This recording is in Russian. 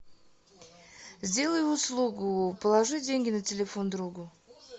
сделай услугу положи деньги на телефон другу